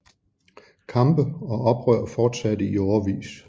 Kampe og oprør fortsatte i årevis